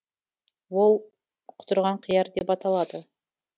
ол құтырған қияр деп аталады